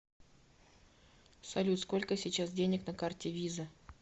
салют сколько сейчас денег на карте виза